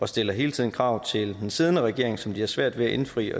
stiller hele tiden krav til den siddende regering som den har svært ved at indfri